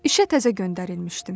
İşə təzə göndərilmişdim.